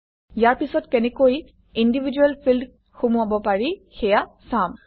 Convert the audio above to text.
ইয়াৰ পিছত কেনেকৈ individual field সুমুৱাব পাৰি সেয়া চাম